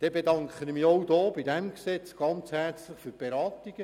Ich bedanke mich im Zusammenhang mit diesem Gesetz herzlich für die Beratungen.